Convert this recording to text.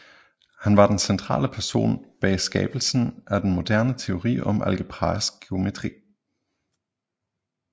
Han var den centrale person bag skabelsen af den moderne teori om algebraisk geometri